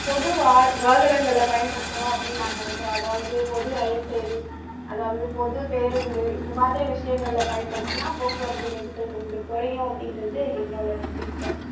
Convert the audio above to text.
பொது வாகனங்களை பயன்படுத்தனும் அப்படின்னு நான் நினைக்குறன் அதாவது பொது ரயில் சேவை அதாவது பொது பேரூந்து இது மாதிரி விஷயங்கள பயன்படுத்தினா போக்குவரத்து நெரிசல் கொஞ்சம் குறையும் அப்படின்றது என்னோட நம்பிக்கை